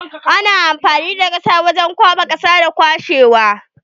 Ana amfani da shebur wajen kwaɓa da kwashe ƙasa.